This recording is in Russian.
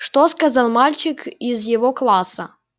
что сказал мальчик из его класса